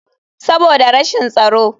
Saboda rashin tsaro.